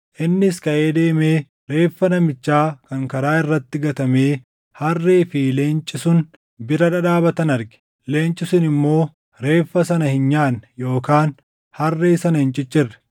Innis kaʼee deemee reeffa namichaa kan karaa irratti gatamee harree fi leenci sun bira dhadhaabatan arge. Leenci sun immoo reeffa sana hin nyaanne yookaan harree sana hin ciccirre.